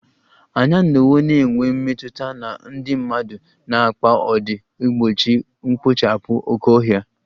Anyị anọwo na-enwe mmetụta na ndị mmadụ na mkpa ọ dị igbochi mkpochapu oke ohia